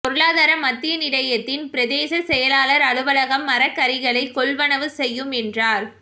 பொருளாதார மத்திய நிலையத்தின் பிரதேச செயலாளர் அலுவலகம் மரக்கறிகளை கொள்வனவு செய்யும் என்றார்